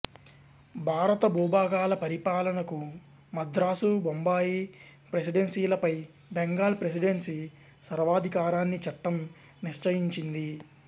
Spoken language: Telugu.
భారత భూభాగాల పరిపాలనకు మద్రాసు బొంబాయి ప్రెసిడెన్సీలపై బెంగాల్ ప్రెసిడెన్సీ సర్వాధికారాన్ని చట్టం నిశ్చయించింది